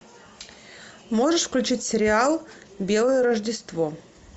можешь включить сериал белое рождество